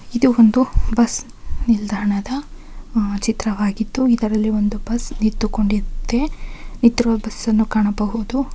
ಇದು ಒಂದು ಬಸ್ ನಿಲ್ದಾಣದ ಆಹ್ ಚಿತ್ರವಾಗಿದ್ದು ಇದರಲ್ಲಿ ಒಂದು ಬಸ್ ನಿಂತು ಕೊಂಡಿದೆ. ನಿತಿರುವ ಬಸ್ ಅನ್ನು ಕಾಣಬಹುದು.